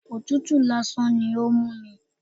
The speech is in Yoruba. Òtútù lásán ni ó ń mú mi.